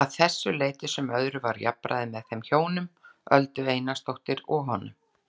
Að þessu leyti sem öðru var jafnræði með þeim hjónum, Öldu Einarsdóttur og honum.